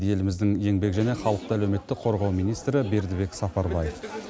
еліміздің еңбек және халықты әлеуметтік қорғау министрі бердібек сапарбаев